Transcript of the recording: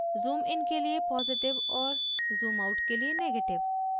zoom in के लिए positive और zoom out के लिए negative